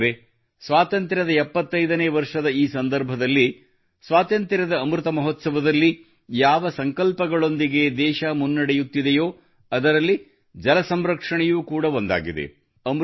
ಸ್ನೇಹಿತರೇ ಸ್ವಾತಂತ್ರ್ಯದ 75 ನೇ ವರ್ಷದ ಈ ಸಂದರ್ಭದಲ್ಲಿ ಸ್ವಾತಂತ್ರ್ಯದ ಅಮೃತ ಮಹೋತ್ಸವದಲ್ಲಿ ಯಾವ ಸಂಕಲ್ಪಗಳೊಂದಿಗೆ ದೇಶವು ಮುನ್ನಡೆಯುತ್ತಿದೆಯೋ ಅದರಲ್ಲಿ ಜಲ ಸಂರಕ್ಷಣೆಯೂ ಕೂಡ ಒಂದಾಗಿದೆ